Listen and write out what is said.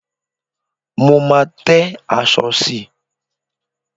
Mo máa tẹ́ aṣọ sí i.